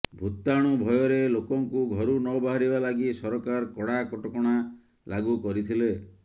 ଭୂତାଣୁ ଭୟରେ ଲୋକଙ୍କୁ ଘରୁ ନ ବାହାରିବା ଲାଗି ସରକାର କଡା କଟକଣା ଲାଗୁ କରିଥିଲେ